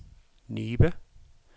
Nibe